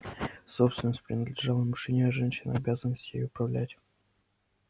собственность принадлежала мужчине а женщине обязанность ею управлять